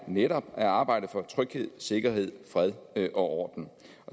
netop er at arbejde for tryghed sikkerhed fred og orden